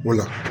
O la